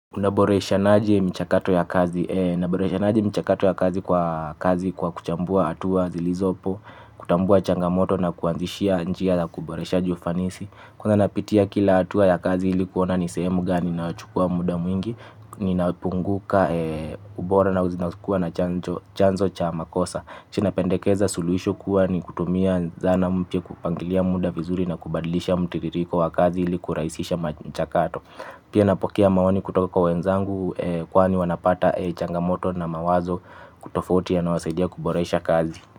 Unaboresha naje mchakato ya kazi naboresha naje mchakato ya kazi kwa kazi kwa kuchambua atuwa zilizopo. Kutambua changamoto na kuanzishia njia la kuboresha jofanisi. Kwanza napitia kila atua ya kazi ilikuona ni sehemu gani na uchukua muda mwingi. Ninapunguka ubora na uzinazukua na chanzo cha makosa. Chinapendekeza suluisho kuwa ni kutumia zana mpya kupangilia muda vizuri na kubadilisha mutiririko wa kazi iliku raisisha mchakato. Pia napokea maoni kutoka kwa wenzangu kwaani wanapata changamoto na mawazo kutofotia na wasaidia kuboresha kazi.